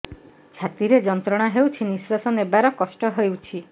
ଛାତି ରେ ଯନ୍ତ୍ରଣା ହେଉଛି ନିଶ୍ଵାସ ନେବାର କଷ୍ଟ ହେଉଛି